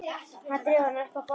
Hann dregur hana upp að borðinu.